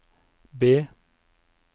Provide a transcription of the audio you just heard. B